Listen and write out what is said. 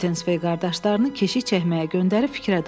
Mitensvey qardaşlarını keşiyə çəkməyə göndərib fikrə daldı.